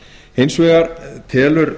hins vegar telur